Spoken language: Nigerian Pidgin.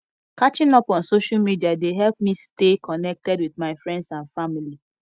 catching up on social media dey help me stay connected with my friends and family